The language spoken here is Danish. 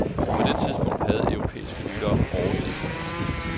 På det tidspunkt havde europæiske lyttere overgivet sig.